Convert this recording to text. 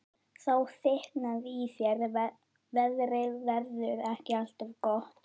Þá þykknaði í þér: Veðrið verður ekki alltaf gott.